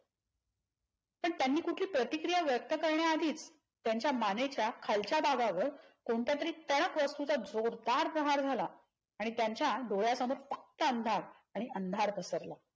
पण त्यांनी कुठली प्रतिक्रिया व्यक्त करण्याआधी त्यांच्या मानेच्या खालच्या भागावर कोणत्यातरी टणक वास्तूचा जोरदार प्रहार झाला आणि त्यांच्या डोळ्यासमोर फक्त अंधार आणि अंधार पसरला.